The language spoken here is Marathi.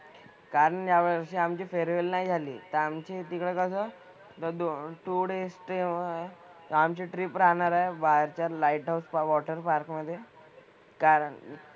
कारण यावर्षी आमची farewell नाही झाली. तर आमचे तिथं कसं थोडे stayover आहे. तर आमची trip राहणार आहे बाहेरच्या light of water park मधे. कारण,